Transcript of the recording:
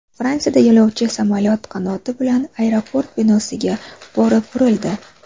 Fransiyada yo‘lovchi samolyot qanoti bilan aeroport binosiga borib urildi .